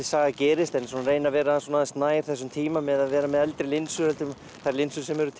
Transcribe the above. saga gerist en svona reyna að vera aðeins nær þessum tíma með því að vera með eldri linsur heldur en linsur sem eru